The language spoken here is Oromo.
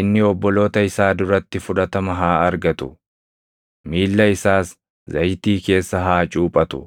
inni obboloota isaa duratti fudhatama haa argatu; miilla isaas zayitii keessa haa cuuphatu.